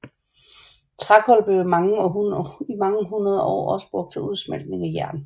Trækul blev i mange hundreder år også brugt til udsmeltning af jern